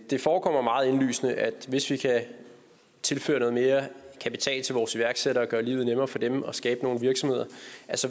det forekommer meget indlysende at hvis vi kan tilføre noget mere kapital til vores iværksættere og gøre livet nemmere for dem og skabe nogle virksomheder